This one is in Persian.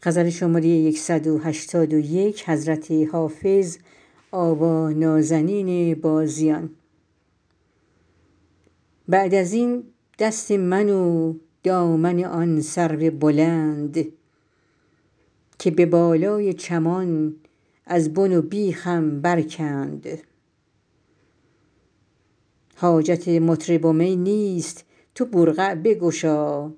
بعد از این دست من و دامن آن سرو بلند که به بالای چمان از بن و بیخم برکند حاجت مطرب و می نیست تو برقع بگشا